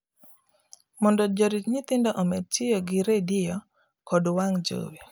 mondo jorit nyithindo omed tiyo gi redio kod wang' jowi